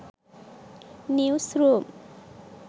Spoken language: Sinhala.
news room